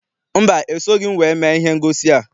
Mba, esoghị m wee mee ihe ngosi a.